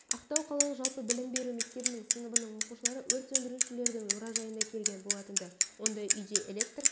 ақтау қалалық жалпы білім беру мектебінің сыныбының оқушылары өрт сөндірушілердің мұражайына келген болатынды онда үйде электр